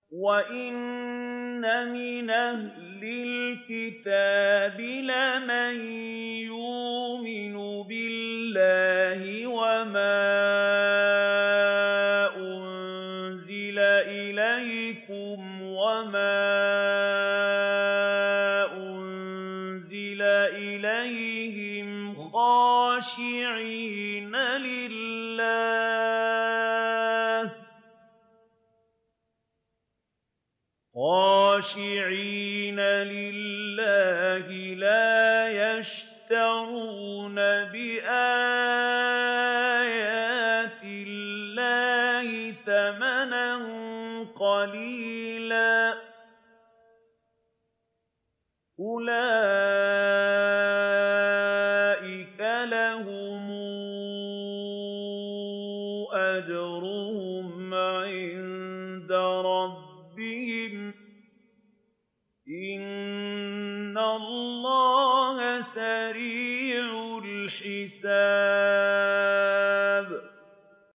وَإِنَّ مِنْ أَهْلِ الْكِتَابِ لَمَن يُؤْمِنُ بِاللَّهِ وَمَا أُنزِلَ إِلَيْكُمْ وَمَا أُنزِلَ إِلَيْهِمْ خَاشِعِينَ لِلَّهِ لَا يَشْتَرُونَ بِآيَاتِ اللَّهِ ثَمَنًا قَلِيلًا ۗ أُولَٰئِكَ لَهُمْ أَجْرُهُمْ عِندَ رَبِّهِمْ ۗ إِنَّ اللَّهَ سَرِيعُ الْحِسَابِ